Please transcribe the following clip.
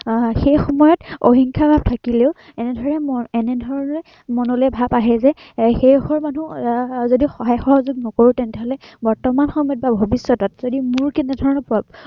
আহ সেই সময়ত হিংসা ভাৱ থাকিলেও এনেধৰণে, এনেধৰণেৰে মনলৈ ভাৱ আহে যে এৰ সেই ঘৰ মানুহ আহ যদি সহায়-সহযোগ নকৰো, তেন্তেহলে বৰ্তমান সময়ত বা ভৱিষ্য়তত যদি মোৰ আহ তেনেধৰনৰ